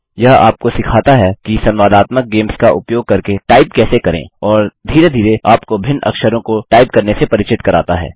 यह आपको सिखाता है कि संवादात्मक गेम्स का उपयोग करके टाइप कैसे करें और धीरे धीरे आपको भिन्न अक्षरों को टाइप करने से परिचित कराता है